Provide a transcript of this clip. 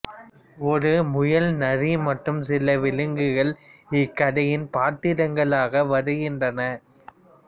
ஒரு முயல்நரி மற்றும் சில விலங்குகள் இக்கதையின் பாத்திரங்களாக வருகின்றனர்